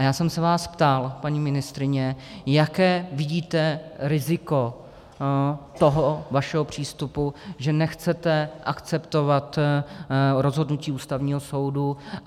A já jsem se vás ptal, paní ministryně, jaké vidíte riziko toho vašeho přístupu, že nechcete akceptovat rozhodnutí Ústavního soudu.